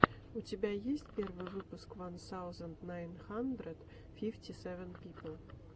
у тебя есть первый выпуск ван саузенд найн хандрэд фифти сэвэн пипл